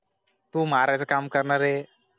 तू मारायचं काम कर नारे